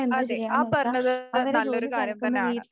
അതെ ആ പറഞ്ഞത് നല്ലൊരു കാര്യം തന്നെയാണ്.